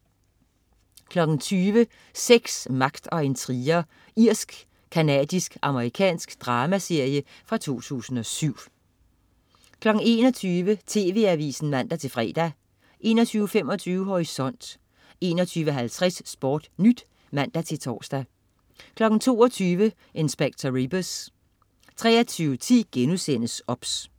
20.00 Sex, magt og intriger. Irsk-canadisk-amerikansk dramaserie fra 2007 21.00 TV Avisen (man-fre) 21.25 Horisont 21.50 SportNyt (man-tors) 22.00 Inspector Rebus 23.10 OBS*